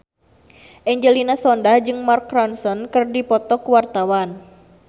Angelina Sondakh jeung Mark Ronson keur dipoto ku wartawan